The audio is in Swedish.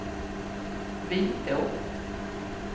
Vitå